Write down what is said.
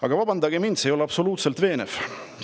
Aga vabandage mind, see ei ole absoluutselt veenev!